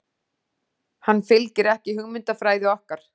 Hann fylgir ekki hugmyndafræði okkar.